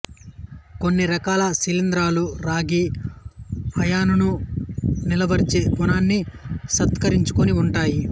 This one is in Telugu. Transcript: కొన్ని రకాల శిలీంధ్రాలు రాగి అయానును నిలువరించే గుణాన్ని సంతరించుకొని ఉంటాయి